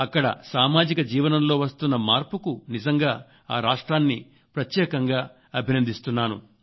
అక్కడ సామాజిక జీవనంలో వస్తున్న మార్పుకు నిజంగా ఆ రాష్ట్రాన్ని ప్రత్యేకంగా అభినందిస్తున్నాను